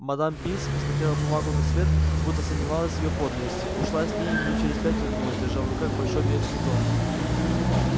мадам пинс посмотрела бумагу на свет будто сомневалась в её подлинности ушла с ней и минут через пять вернулась держа в руках большой ветхий том